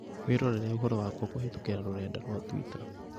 Wĩrorere ũhoro wakwa kũhītũkīra rũrenda rũa tũita